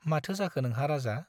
माथो जाखो नोंहा राजा ?